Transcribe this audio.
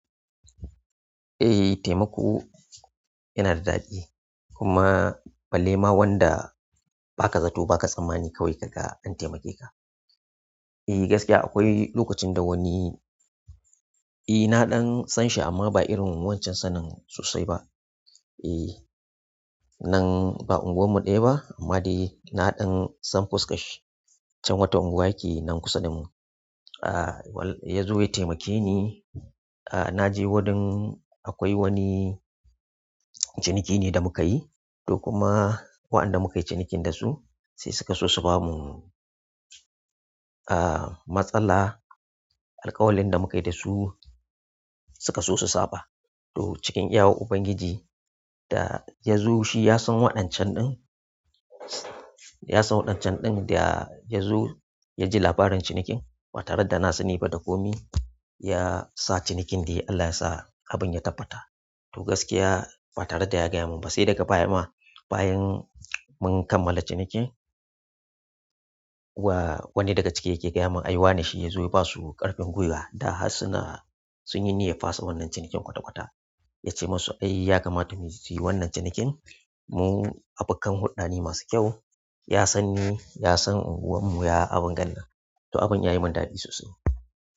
Eh taimako yana da ɗadi kuma balle ma wanda baka zato ba ka tsammani kawai ka ga an taimake ka. Eh gaskiya akwai lokacin da wani, eh na ɗan san shi amma ba irin wancan sanin sosai ba. Eeh. Nan ba unguwarmu ɗaya ba amma dai na ɗan san fuskashi can wata unguwa yake nan ƙusa da mu. Ya zo ya taimake ni. Naje wajen akwai wani ciniki ne da mukayi duk kuma waɗanda mukayi cinikin dasu sai suka so su bamu, matsala. Alƙawalin da mukayi dasu suka so su saba. To cikin iyawar Ubangiji da ya zo shi ya san waɗancan ɗin, ya san waɗancan ɗin da ya zo ya ji labarin cinikin, fatarar da na sani ba da komi ya sa cinikin dai Allah ya sa abin ya tabbata. To gaskiya batare da ya gaya mun ba sai daga baya ma bayan mun kammala cinikin. Wa-wani daga cike yake gaya mun ai wane shi ya zo ya basu ƙarfin gwiwa da harsuna sun yi ne ya fasa wannan cinikin kwata-kwata. Yace musu "ai yakamata mu yi wannan cinikin mu abokan huɗdane masu kyau." Ya sanni ya san unguwar mu ya abin galla. To abin ya yi mun daɗi sosai.